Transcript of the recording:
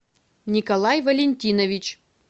николай валентинович